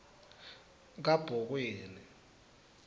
kabhokweni